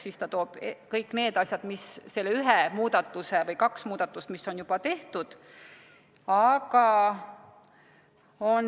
" Siis ta toob ära selle ühe muudatuse või kaks muudatust, mis on juba tehtud.